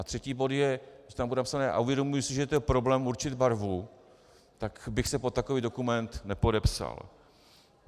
A třetí bod je, že tam bude napsané "a uvědomuji si, že to je problém určit barvu", tak bych se pod takový dokument nepodepsal.